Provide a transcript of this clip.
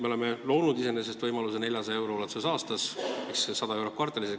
Me oleme loonud võimaluse, et 400 eurot aastas ehk 100 eurot kvartalis.